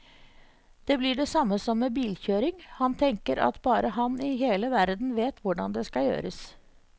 Det blir det samme som med bilkjøring, han tenker at bare han i hele verden vet hvordan det skal gjøres.